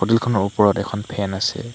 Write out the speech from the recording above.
Hotel খনৰ ওপৰত এখন ফেন আছে।